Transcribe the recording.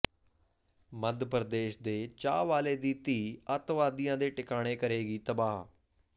ਮੱਧਪ੍ਰਦੇਸ਼ ਦੇ ਚਾਹ ਵਾਲੇ ਦੀ ਧੀ ਅੱਤਵਾਦੀਆਂ ਦੇ ਟਿਕਾਣੇ ਕਰੇਗੀ ਤਬਾਹ